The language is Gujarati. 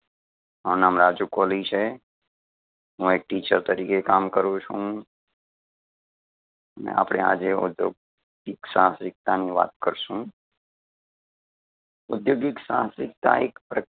મારુ નામ રાજુ કોલી છે. હું એક teacher તરીકે કામ કરું છું. આપડે આજે ઉધ્યોગિક સાહસિકતાની વાત કરશું. ઉધ્યોગિક સાહસિકતા એક પ્ર